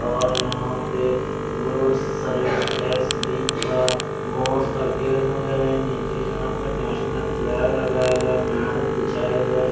और यहां पे गुड्स सर्विस टैक्स बिन का बोर्डस लगे हुए है निचे यहां पे नेशनल फ्लैग लगाया गया मेड बिछाया गया --